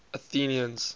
athenians